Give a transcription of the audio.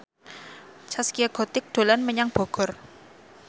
Zaskia Gotik dolan menyang Bogor